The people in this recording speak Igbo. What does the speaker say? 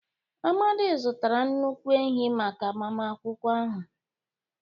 Amadi zụtara nnukwu ehi maka agbamakwụkwọ ahụ.